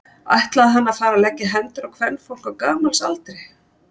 Ætlaði hann að fara að leggja hendur á kvenfólk á gamals aldri?